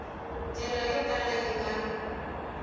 ndlela yo kala yi nga